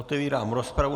Otevírám rozpravu.